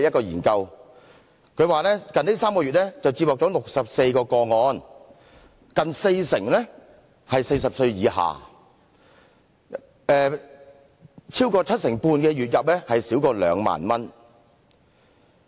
研究指出近3個月接獲64宗個案，近四成人40歲以下，超過七成半的人月入少於兩萬元。